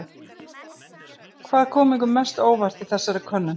Hvað kom ykkur mest á óvart í þessari könnun?